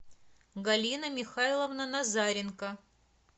галина михайловна назаренко